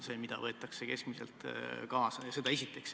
Seda esiteks.